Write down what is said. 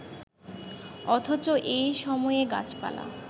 অথচ এই সময়ে গাছপালা